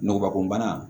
Ngɔbɔkunbana